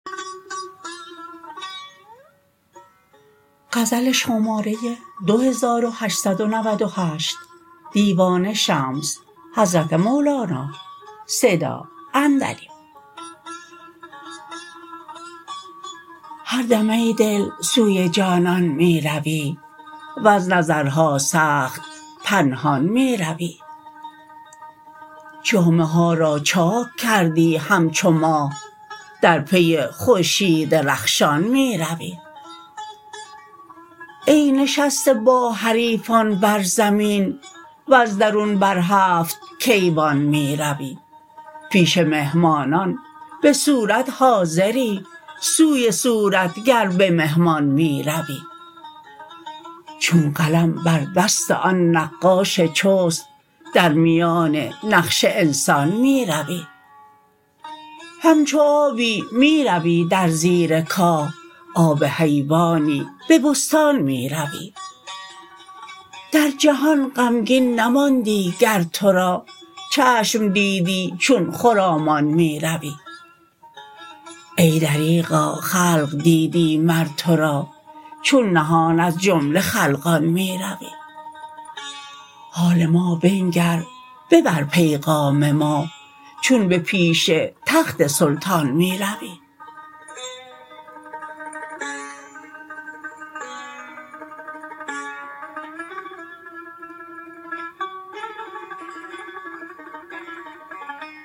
هر دم ای دل سوی جانان می روی وز نظرها سخت پنهان می روی جامه ها را چاک کردی همچو ماه در پی خورشید رخشان می روی ای نشسته با حریفان بر زمین وز درون بر هفت کیوان می روی پیش مهمانان به صورت حاضری سوی صورتگر به مهمان می روی چون قلم بر دست آن نقاش چست در میان نقش انسان می روی همچو آبی می روی در زیر کاه آب حیوانی به بستان می روی در جهان غمگین نماندی گر تو را چشم دیدی چون خرامان می روی ای دریغا خلق دیدی مر تو را چون نهان از جمله خلقان می روی حال ما بنگر ببر پیغام ما چون به پیش تخت سلطان می روی